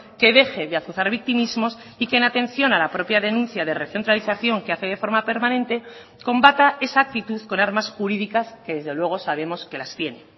que deje de azuzar victimismos y que en atención a la propia denuncia de recentralización que hace de forma permanente combata esa actitud con armas jurídicas que desde luego sabemos que las tiene